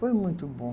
Foi muito bom.